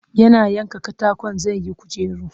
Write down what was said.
Yana yanka katakon zai yi kujera